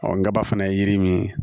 ngɔbaa fana ye yiri min ye